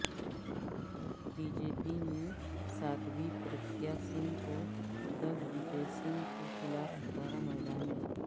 be J P نے سادھوی پرگیہ سنگھ کو دگ وجےسنگھ کےخلاف اتارا میدان میں